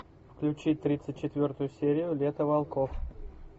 включи тридцать четвертую серию лето волков